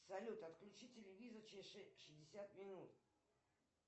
салют отключи телевизор через шестьдесят минут